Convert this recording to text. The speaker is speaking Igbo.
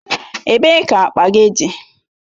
Ebee ka akpa gị dị?